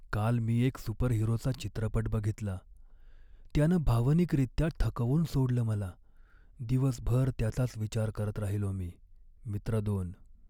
काल मी एक सुपरहिरोचा चित्रपट बघितला, त्यानं भावनिकरित्या थकवून सोडलं मला. दिवसभर त्याचाच विचार करत राहिलो मी. मित्र दोन